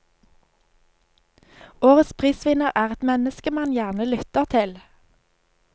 Årets prisvinner er et menneske man gjerne lytter til.